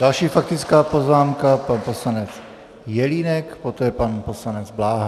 Další faktická poznámka pan poslanec Jelínek, poté pan poslanec Bláha.